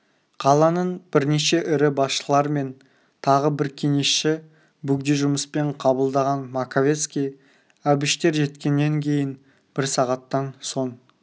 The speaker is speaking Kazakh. қаланың бірнеше ірі басшылар мен тағы бір кеңесші бөгде жұмыспен қабылдаған маковецкий әбіштер жеткеннен кейін бір сағаттан соң